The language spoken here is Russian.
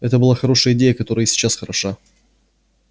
это была хорошая идея которая и сейчас хороша